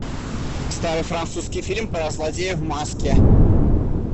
старый французский фильм про злодея в маске